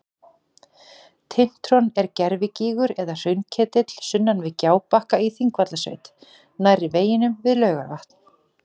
Tintron er gervigígur eða hraunketill sunnan við Gjábakka í Þingvallasveit nærri veginum að Laugarvatni.